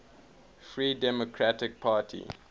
free democratic party